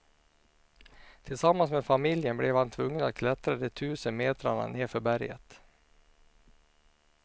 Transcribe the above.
Tillsammans med familjen blev han tvungen att klättra de tusen metrarna nedför berget.